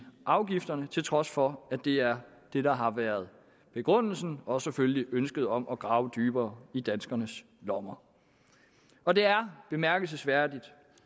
afgifterne til trods for at det er det der har været begrundelsen og så selvfølgelig ønsket om at grave dybere i danskernes lommer og det er bemærkelsesværdigt